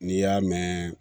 N'i y'a mɛn